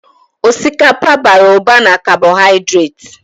Osikapa bara ụba na kabohaidreti.